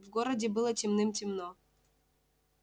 в городе было темным-темно